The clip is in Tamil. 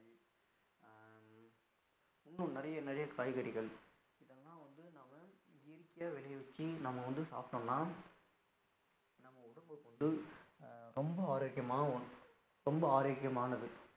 இன்னும் நிறைய நிறைய காய்கறிகள் இதலாம் வந்து நாம இயற்கையா வெளிய வச்சி நாம வந்து சாப்படலாம், நம்ம உடம்ப கொண்டு ரொம்ப ஆரோக்கியமாவும் அஹ் ரொம்பஆரோக்கியமானது